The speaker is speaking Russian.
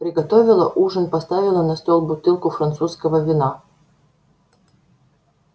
приготовила ужин поставила на стол бутылку французского вина